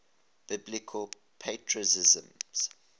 biblical patriarchs